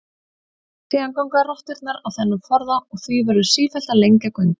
Síðan ganga rotturnar á þennan forða og því verður sífellt að lengja göngin.